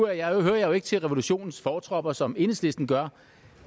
jeg jo ikke til revolutionens fortropper som enhedslisten gør